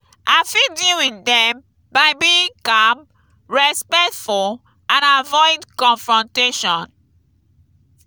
i fit deal with dem by being calm respectful and avoid confrontation.